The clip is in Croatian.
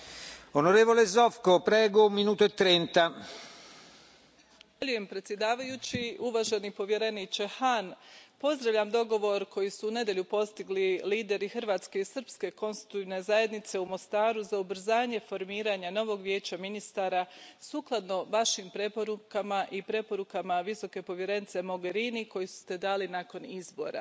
Poštovani predsjedavajući, uvaženi povjereniče Hahn, pozdravljam dogovor koji su u nedjelju postigli lideri hrvatske i srpske konstitutivne zajednice u Mostaru za ubrzanje formiranja novog Vijeća ministara sukladno vašim preporukama i preporukama visoke povjerenice Mogherini koji ste dali nakon izbora.